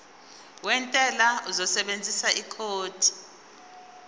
wentela uzosebenzisa ikhodi